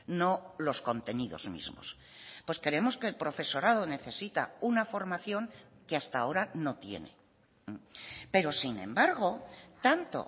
no los contenidos mismos pues creemos que el profesorado necesita una formación que hasta ahora no tiene pero sin embargo tanto